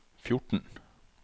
fjorten